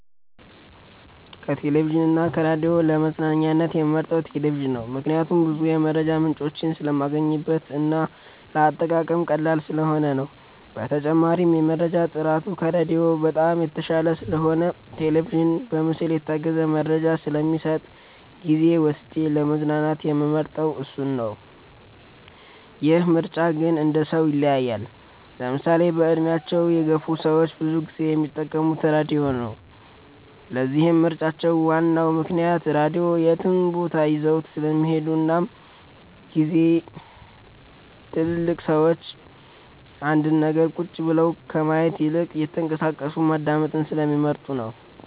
ከቴሌቪዥን እና ከራዲዮ ለመዝናኛነት የምመርጠው ቴሌቪዥንን ነው። ምክንያቴም ብዙ የመረጃ ምንጮችን ስለማገኝበት እና ለአጠቃቀም ቀላል ስለሆነ ነው። በተጨማሪም የመረጃ ጥራቱ ከራዲዮ በጣም የተሻለ ስለሆነ ነው። ቴሌቪዥን በምስል የታገዘ መረጃ ስለሚሰጥ ጊዜ ወስጄ ለመዝናናት የምመርጠው እሱን ነው። ይህ ምርጫ ግን እንደሰው ይለያያል። ለምሳሌ በእድሜያቸው የገፍ ሰዎች ብዙ ጊዜ የሚጠቀሙት ራድዮ ነው። ለዚህም ምርጫቸው ዋናው ምክንያት ራድዮ የትም ቦታ ይዘውት ስለሚሄዱ እናም ብዙ ግዜ ትልልቅ ሰዎች አንድን ነገር ቁጭ ብለው ከማየት ይልቅ እየተንቀሳቀሱ ማዳመጥን ስለሚመርጡ ነው።